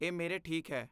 ਇਹ ਮੇਰੇ ਠੀਕ ਹੈ।